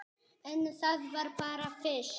En það var bara fyrst.